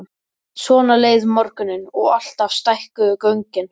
Svona leið morgunninn og alltaf stækkuðu göngin.